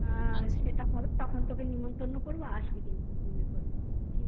সেটা হয় তখন তোকে নেমন্তন্ন করবো আসবি কিন্তু মনে কর ঠিক আছে